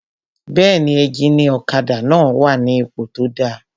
Bẹ́ẹ̀ni, éjìnì ọ̀kadà náà wà ní ipò tó dáa